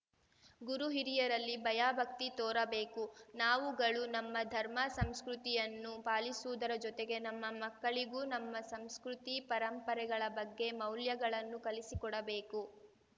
ಗುರು ಹಿರಿಯರಲ್ಲಿ ಭಯಭಕ್ತಿ ತೋರಬೇಕು ನಾವುಗಳು ನಮ್ಮ ಧರ್ಮ ಸಂಸ್ಕೃತಿಯನ್ನು ಪಾಲಿಸುವುದರ ಜೊತೆಗೆ ನಮ್ಮ ಮಕ್ಕಳಿಗೂ ನಮ್ಮ ಸಂಸ್ಕೃತಿ ಪರಂಪರೆಗಳ ಬಗ್ಗೆ ಮೌಲ್ಯಗಳನ್ನು ಕಲಿಸಿಕೊಡಬೇಕು